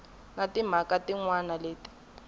na timhaka tin wana leti